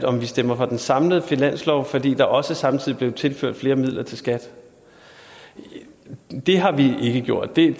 om vi stemte for den samlede finanslov fordi der også samtidig blev tilført flere midler til skat det har vi ikke gjort det